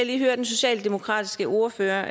lige høre den socialdemokratiske ordfører